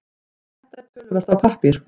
Þetta töluvert af pappír